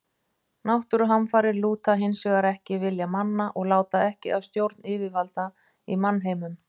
Náttúruhamfarir lúta hins vegar ekki vilja manna og láta ekki að stjórn yfirvalda í mannheimum.